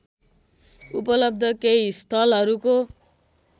उपलब्ध केही स्थलहरूको